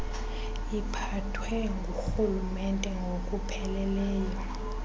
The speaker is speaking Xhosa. iphathwe ngurhulumente ngokupheleleyo